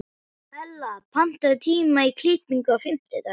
Hella, pantaðu tíma í klippingu á fimmtudaginn.